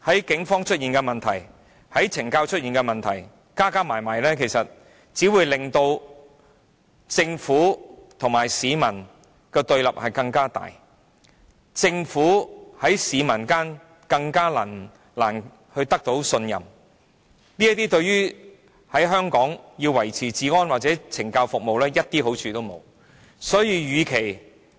警隊加上懲教署的問題，只會令政府和市民變得更對立，令政府更難取得市民信任，這對於維持治安及懲教服務而言，沒有半點好處。